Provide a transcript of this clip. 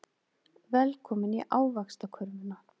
Velkomin í Ávaxtakörfuna.